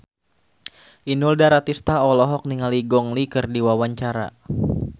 Inul Daratista olohok ningali Gong Li keur diwawancara